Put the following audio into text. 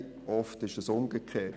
Oft ist es umgekehrt.